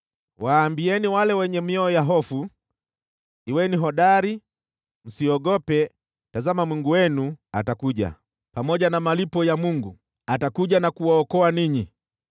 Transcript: waambieni wale wenye mioyo ya hofu, “Kuweni hodari, msiogope; tazama, Mungu wenu atakuja, pamoja na malipo ya Mungu, atakuja na kuwaokoa ninyi.”